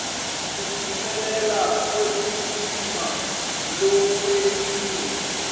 kuphumelela kwekulima lokwentiwe